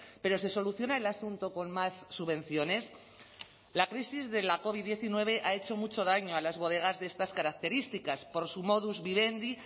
pero se soluciona el asunto con más subvenciones la crisis de la covid diecinueve ha hecho mucho daño a las bodegas de estas características por su modus vivendi